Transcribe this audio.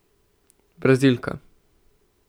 Brazilka.